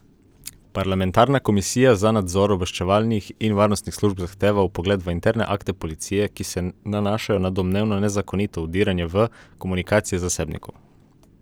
Parlamentarna komisija za nadzor obveščevalnih in varnostnih služb zahteva vpogled v interne akte policije, ki se nanašajo na domnevno nezakonito vdiranje v komunikacije zasebnikov.